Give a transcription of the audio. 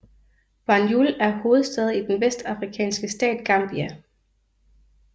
Banjul er hovedstad i den vestafrikanske stat Gambia